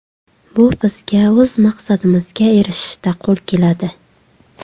Bu bizga o‘z maqsadimizga erishishda qo‘l keladi”.